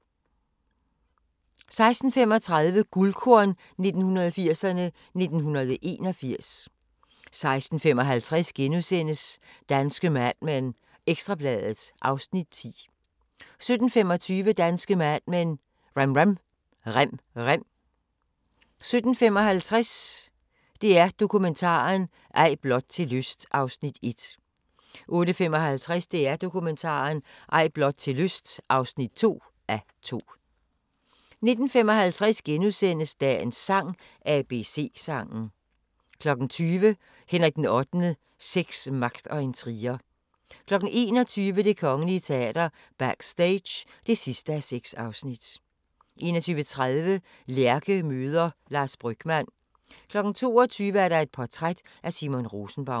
16:35: Guldkorn 1980'erne: 1981 16:55: Danske Mad Men: Ekstra Bladet (Afs. 10)* 17:25: Danske Mad Men: Rem rem 17:55: DR Dokumentaren – Ej blot til lyst (1:2) 18:55: DR Dokumentaren – Ej blot til lyst (2:2) 19:55: Dagens sang: ABC-sangen * 20:00: Henrik VIII: Sex, magt og intriger 21:00: Det Kongelige Teater – Backstage (6:6) 21:30: Lærke møder Lars Brygmann 22:00: Et portræt af Simon Rosenbaum